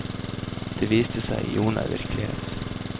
Det viste seg i jordnær virkelighet.